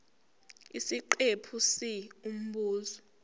isiqephu c umbuzo